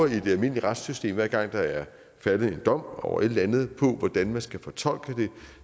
i det almindelige retssystem hver gang der er faldet en dom over et eller andet på hvordan man skal fortolke det